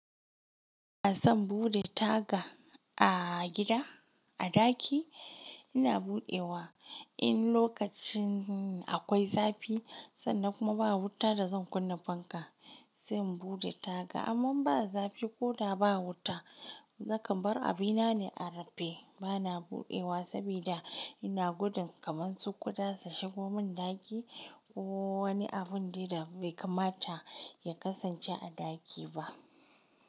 Ina son buɗe taga a gida a ɗaki, ina buɗewa in lokacin akwai zafi sanda kuma ba wuta da zan kunna fanka, sai in buɗe taga. Amman ba zafi ko da ba wuta, nakan bar abinane a rufe. Bana buɗewa saboda ina gudun kamansu kuɗa su shigo mun ɗaki ko wani abin deda bai kamata ya kasance a ɗaki ba.